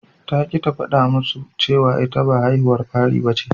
Ta ƙi ta faɗa musu cewa ita ba haihuwar fari bace.